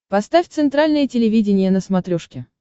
поставь центральное телевидение на смотрешке